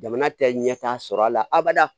Jamana tɛ ɲɛtaa sɔrɔ a la abada